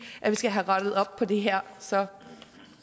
at vi skal have rettet op på det her så